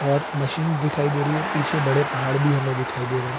और मशीन्स दिखाई दे रही है। पीछे बड़े पहाड़ भी हमें दिखाई दे रहे।